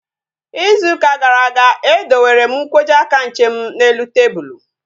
Ịzụ ụka gara aga, e dowere m nkwọji aka nche m n'elu tebụlu